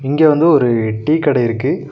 இங்க வந்து ஒரு டீ கடை இருக்கு.